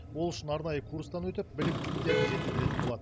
ол үшін арнайы курстан өтіп біліктіліктерін жетілдіретін болады